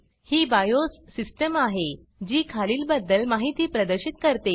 ही BIOS system आहे जी खालील बद्दल माहिती प्रदर्शित करते